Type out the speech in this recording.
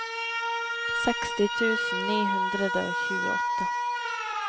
seksti tusen ni hundre og tjueåtte